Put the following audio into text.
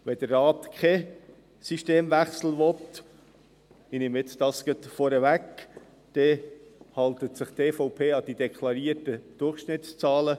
Wenn der Rat keinen Systemwechsel will – ich nehme das jetzt gleich vorweg –, hält sich die EVP an die deklarierten Durchschnittszahlen.